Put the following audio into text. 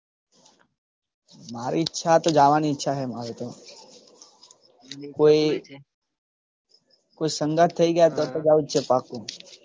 મારી ઈચ્છા તો જવાની ઈચ્છા છે મારી તો. કોઈ સંગાથ થઈ જાય તો જવું છે પાક્કું.